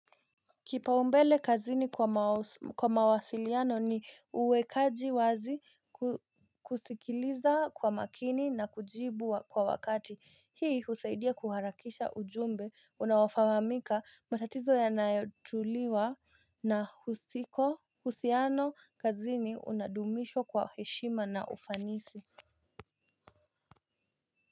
Kipaumbele kazini kwa mawasiliano ni uwekaji wazi kusikiliza kwa makini na kujibu kwa wakati hii husaidia kuharakisha ujumbe unaofahamika matatizo yanayotuliwa na husiko uhusiano kazini unadumishwa kwa heshima na ufanisi.